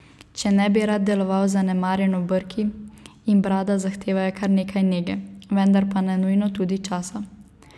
Če ne bi rad deloval zanemarjeno brki in brada zahtevajo kar nekaj nege, vendar pa ne nujno tudi časa.